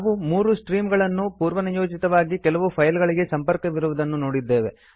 ನಾವು 3 ಸ್ಟ್ರೀಮ್ಸ್ ಗಳು ಪೂರ್ವನಿಯೋಜಿತವಾಗಿ ಕೆಲವು ಫೈಲ್ಸ್ ಗಳಿಗೆ ಸಂಪರ್ಕವಿರುವುದನ್ನು ನೋಡಿದ್ದೇವೆ